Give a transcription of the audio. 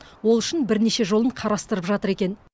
ол үшін бірнеше жолын қарастырып жатыр екен